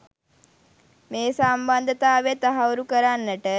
මේ සම්බන්ධතාවය තහවුරු කරන්නට